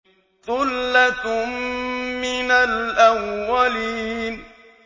ثُلَّةٌ مِّنَ الْأَوَّلِينَ